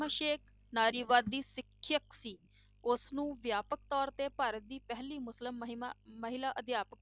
ਫ਼ਾਤਿਮਾ ਸੇਖ਼ ਨਾਰੀਵਾਦੀ ਸਿੱਖਿਆ ਸੀ, ਉਸਨੂੰ ਵਿਆਪਕ ਤੌਰ ਤੇ ਭਾਰਤ ਦੀ ਪਹਿਲੀ ਮੁਸਲਿਮ ਮਹਿਮਾ ਮਹਿਲਾ ਅਧਿਆਪਕ